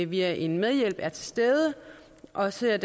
via en medhjælp er til stede og ser